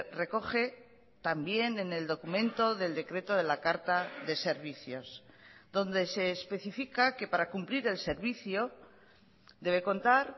recoge también en el documento del decreto de la carta de servicios donde se especifica que para cumplir el servicio debe contar